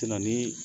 ni